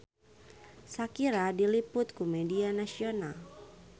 Shakira diliput ku media nasional